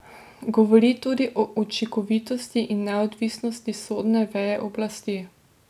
Govori tudi o učinkovitosti in neodvisnosti sodne veje oblasti.